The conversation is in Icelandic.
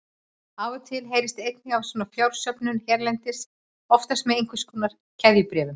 Af og til heyrist einnig af svona fjársöfnun hérlendis, oftast með einhvers konar keðjubréfum.